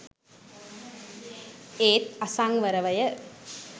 ඒත් අසංවරව ය.